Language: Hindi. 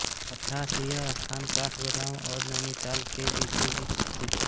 अर्थात् यह स्थान काठगोदाम और नैनीताल के बीचोंबीच स्थित है